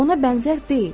Ona bənzər deyil.